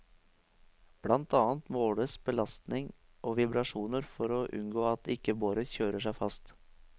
Blant annet måles belastning og vibrasjoner for å unngå at ikke boret kjører seg fast.